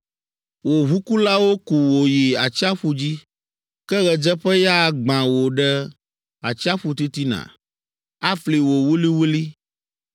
Wò ʋukulawo ku wò yi atsiaƒu dzi. Ke ɣedzeƒeya agbã wò ɖe atsiaƒu titina, afli wò wuliwuli.